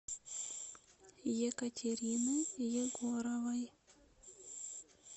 екатерины егоровой